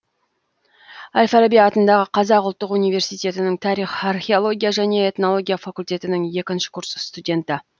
әл фараби атындағы қазақ ұлттық университетінің тарих археология және этнология факультетінің екінші курс студенті